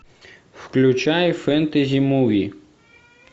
включай фэнтези муви